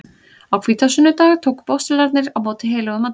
Á hvítasunnudag tóku postularnir á móti heilögum anda.